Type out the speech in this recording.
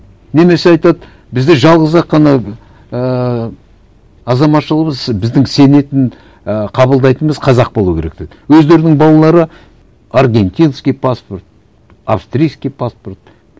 немесе айтады бізде жалғыз ақ қана ііі азаматшылығымыз біздің сенетін і қабылдайтынымыз қазақ болу керек дейді өздерінің балалары аргентинский паспорт австрийский паспорт